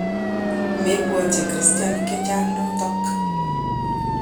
Mebwatyin kristianik che chang notok.